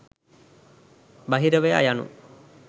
බහිරවයා යනු